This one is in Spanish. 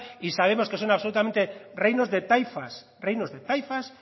y sabemos que son absolutamente reinos de taifas reinos de taifas